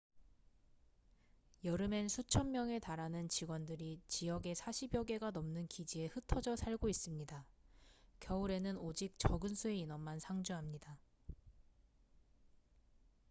여름엔 수천 명의 달하는 직원들이 지역에 사십여 개가 넘는 기지에 흩어져 살고 있습니다 겨울에는 오직 적은 수의 인원만 상주합니다